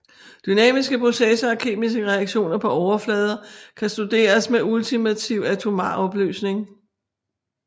Dynamiske processer og kemiske reaktioner på overflader kan studeres med ultimativ atomar opløsning